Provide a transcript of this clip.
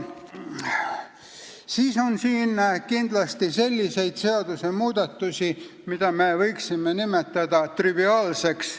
Siis on siin kindlasti selliseid seadusmuudatusi, mida me võiksime nimetada triviaalseks.